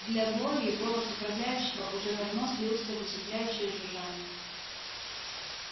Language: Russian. для глории голос управляющего уже давно слился в усыпляющее жужжание